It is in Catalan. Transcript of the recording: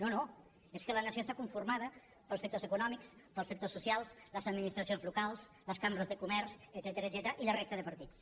no no és que la nació està conformada pels sectors econòmics pels sectors socials les administracions locals les cambres de comerç etcètera i la resta de partits